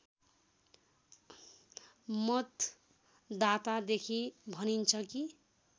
मतदातादेखि भनिन्छ कि